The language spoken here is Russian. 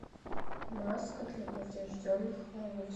маска для поврежденных волос